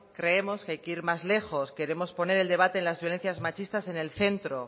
creemos que hay que ir más lejos queremos poner el debate en las violencias machistas en el centro